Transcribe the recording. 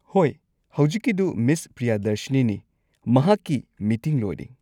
ꯍꯣꯏ, ꯍꯧꯖꯤꯛꯀꯤꯗꯨ ꯃꯤꯁ ꯄ꯭ꯔꯤꯌꯥꯗꯔꯁꯤꯅꯤꯅꯤ, ꯃꯍꯥꯛꯀꯤ ꯃꯤꯇꯤꯡ ꯂꯣꯏꯔꯦ꯫